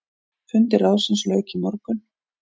Fundi ráðsins lauk í morgun.